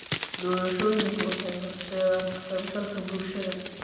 Doorashooyinku waxay horseedeen ka qaybgalka bulshada.